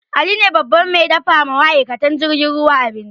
Ali ne babban mai dafa wa ma'aikatan jirgin ruwa abinci